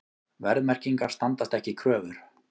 Verðmerkingar standast ekki kröfur